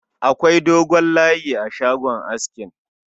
Akwai dogon layi a shagon askin